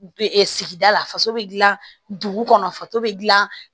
sigida la faso bɛ dilan dugu kɔnɔ faso bɛ dilan